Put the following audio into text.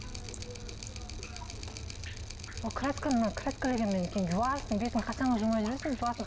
ол красканы краскіленгеннен кейін жуасың бетіңді қашанға жумай жүресің жуасың